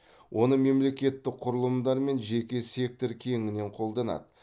оны мемлекеттік құрылымдар мен жеке сектор кеңінен қолданады